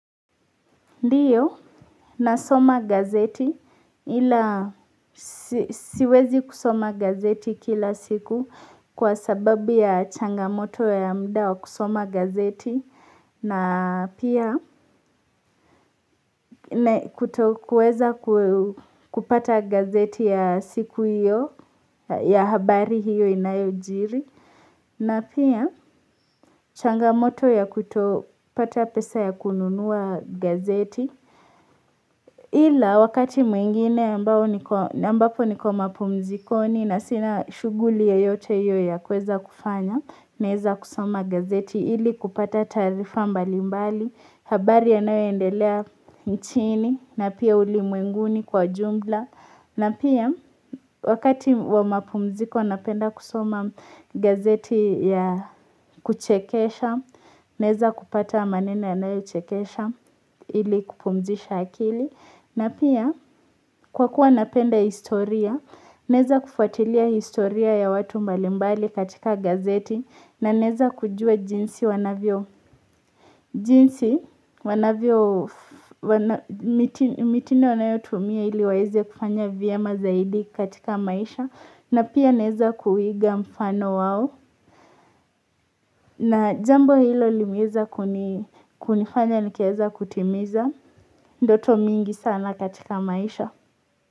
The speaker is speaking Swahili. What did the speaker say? Ndiyo nasoma gazeti ila siwezi kusoma gazeti kila siku kwa sababu ya changamoto ya muda wa kusoma gazeti na pia kutokuweza kupata gazeti ya siku hiyo ya habari hiyo inayojiri. Na pia changamoto ya kuto pata pesa ya kununua gazeti. Ila wakati mwingine ambao niko ambapo niko mapumzikoni na sina shughuli yoyote hiyo ya kweza kufanya, naeza kusoma gazeti ili kupata taarifa mbalimbali, habari yanao endelea nchini na pia ulimwenguni kwa jumla. Na pia wakati wa mapumziko napenda kusoma gazeti ya kuchekesha, neza kupata maneno yanayo chekesha ili kupumzisha akili. Na pia kwa kuwa napenda historia, naeza kufuatilia historia ya watu mbalimbali katika gazeti na naeza kujua jinsi wanavyo, jinsi wanavyo mitindo wanayotumia ili waeze kufanya vyema zaidi katika maisha na pia naeza kuiga mfano wao na jambo hilo limeweza kunifanya nikaweza kutimiza ndoto mingi sana katika maisha.